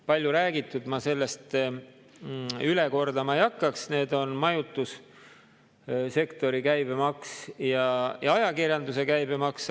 Palju räägitud, ma seda üle kordama ei hakkaks, need on majutussektori käibemaks ja ajakirjanduse käibemaks.